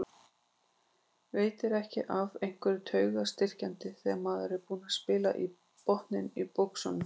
Veitir ekki af einhverju taugastyrkjandi þegar maður er búinn að spila botninn úr buxunum.